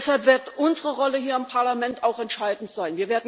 Deshalb wird unsere Rolle hier im Parlament auch entscheidend sein.